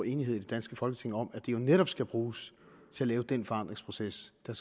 enighed i det danske folketing om at støtten jo netop skal bruges til at lave den forandringsproces der